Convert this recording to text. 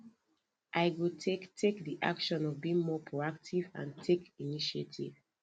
i go take take di action of being more proactive and take initiative